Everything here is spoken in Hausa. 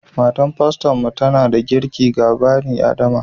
Matar faston mu tana da kirƙi ga bani adama